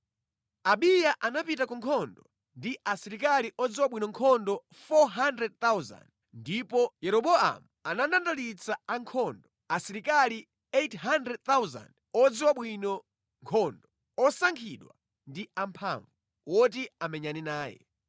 Abiya anapita ku nkhondo ndi asilikali odziwa bwino nkhondo 400,000, ndipo Yeroboamu anandandalitsa ankhondo, asilikali 800,000 odziwa bwino nkhondo, osankhidwa ndi amphamvu, woti amenyane naye.